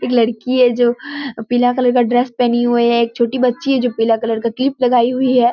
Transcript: एक लड़की है जो पीला कलर का ड्रेस पेहनी हुई है एक छोटी बच्ची है जो पीला कलर का क्लिप लगाई हुई है।